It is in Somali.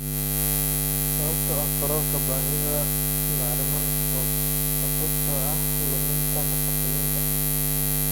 Sababta oo ah kororka baahida bacriminta sababtoo ah luminta nafaqooyinka.